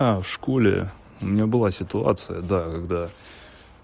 в школе у меня была ситуация да когда